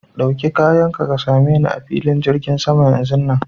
Ɗauki kayan ka, ka same ni a filin jirgin sama yanzun nan.